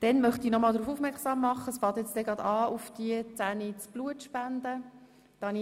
Dann möchte ich nochmals auf das um 10.00 Uhr beginnende Blutspenden aufmerksam machen.